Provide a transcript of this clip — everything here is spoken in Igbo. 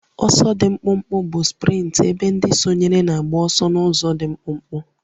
Ọsọ dị mkpụmkpụ bụ sprint ebe ndị sonyere na-agba ọsọ n'ụzọ dị mkpụmkpụ